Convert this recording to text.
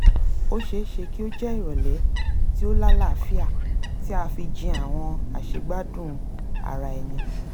ó ṣeéṣe kí ó jẹ́ ìrọ̀lẹ́ tí ó lálàáfíà tí a fi jin àwọn àṣegbádùn ara-ẹni